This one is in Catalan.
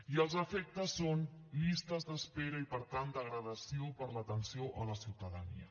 i els efectes són llistes d’espera i per tant degradació per a l’atenció a la ciutadania